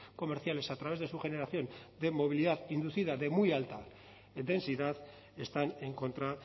comerciales a través de su generación de movilidad inducida de muy alta densidad están en contra